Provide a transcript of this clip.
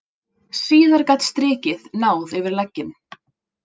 Síðar gat strikið náð yfir legginn.